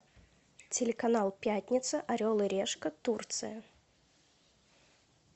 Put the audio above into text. телеканал пятница орел и решка турция